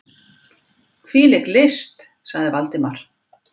Hvílík list! sagði Valdimar.